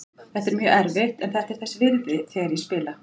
Þetta er mjög erfitt en þetta er þess virði þegar ég spila.